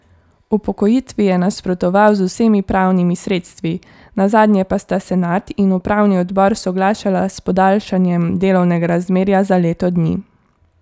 Upokojitvi je nasprotoval z vsemi pravnimi sredstvi, nazadnje pa sta senat in upravni odbor soglašala s podaljšanjem delovnega razmerja za leto dni.